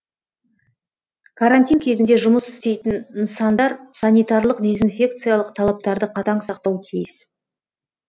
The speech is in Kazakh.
карантин кезінде жұмыс істейтін нысандар санитарлық дезинфекциялық талаптарды қатаң сақтауы тиіс